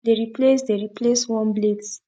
dey replace dey replace worn blades